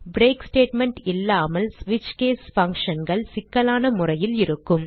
break statement இல்லாமல் switch case functionகள் சிக்கலான முறையில் இருக்கும்